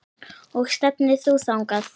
Og stefnir þú þangað?